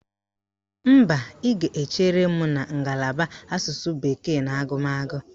Mba, ị ga-echere m na ngalaba Asụsụ bekee na agụmagụ